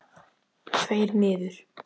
Tveir niður?